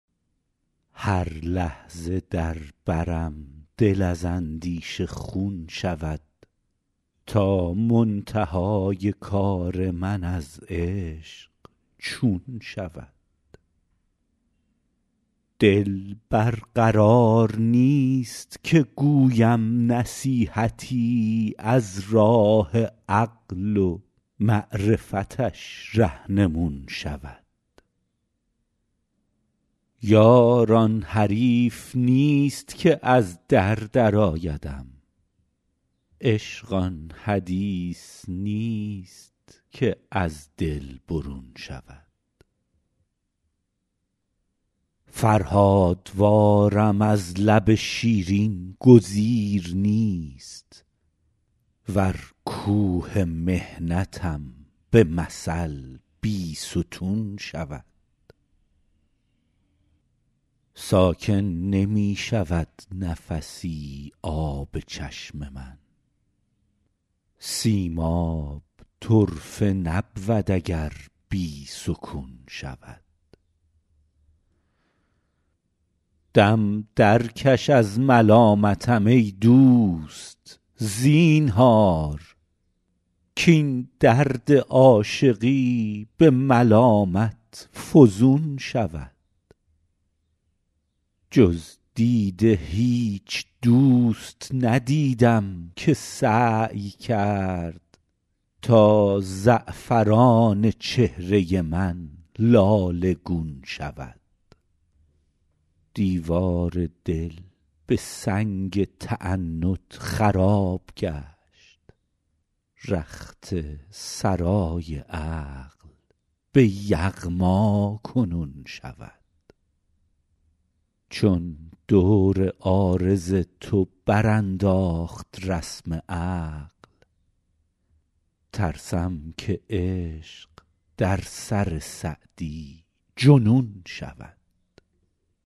هر لحظه در برم دل از اندیشه خون شود تا منتهای کار من از عشق چون شود دل بر قرار نیست که گویم نصیحتی از راه عقل و معرفتش رهنمون شود یار آن حریف نیست که از در درآیدم عشق آن حدیث نیست که از دل برون شود فرهادوارم از لب شیرین گزیر نیست ور کوه محنتم به مثل بیستون شود ساکن نمی شود نفسی آب چشم من سیماب طرفه نبود اگر بی سکون شود دم درکش از ملامتم ای دوست زینهار کاین درد عاشقی به ملامت فزون شود جز دیده هیچ دوست ندیدم که سعی کرد تا زعفران چهره من لاله گون شود دیوار دل به سنگ تعنت خراب گشت رخت سرای عقل به یغما کنون شود چون دور عارض تو برانداخت رسم عقل ترسم که عشق در سر سعدی جنون شود